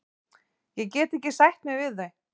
Ég get ekki sætt mig við þau.